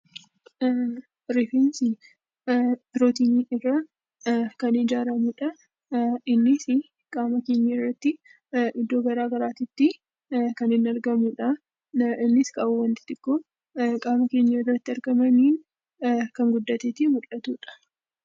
Rifeensi pirootinii irraa kan ijaaramudha. Innis qaama keenyarratti iddoo garaagaraatti kan inni argamudha. Innis qaawwaa xixiqqoo qaama keenyarratti argamanii kan guddatee mul'atudha.